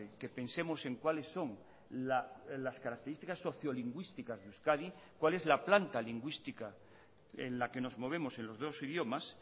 que pensemos en cuáles son las características socio lingüísticas de euskadi cuál es la planta lingüística en la que nos movemos en los dos idiomas